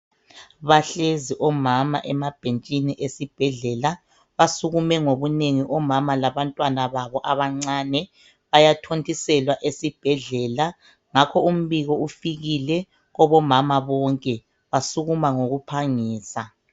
Bahlezi omama emabhetshini ezibhedlela basukume ngobunengi omama labantwana babo abancane bayathontiselwa ezibhedlela ngalo umbiko ufikile kubo mama bonke basukuma ngoku phangisa.